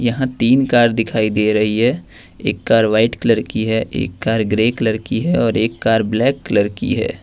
यहां तीन कार दिखाई दे रही है एक कार व्हाइट कलर की है एक कार ग्रे कलर की है और एक कार ब्लैक कलर की है।